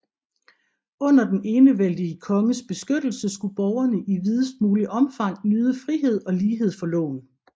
Under den enevældige konges beskyttelse skulle borgerne i videst muligt omfang nyde frihed og lighed for loven